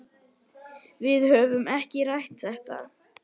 Við höfum ekki rætt þetta.